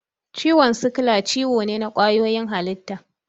Ciwon sikila ciwo ne na ƙwayoyin halitta.